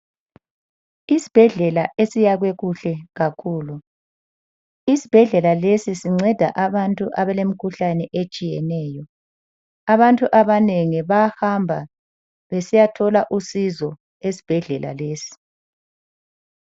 Isibhedlela esiyakhwe kuhle kakhulu. Isibhedlela lesi sinceda abantu abalemkhuhlane etshiyeneyo. Abantu abanengi bayahamba besiyathola usizo esibhedlela lesi.